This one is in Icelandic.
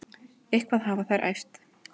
Eitthvað hafa þær æft.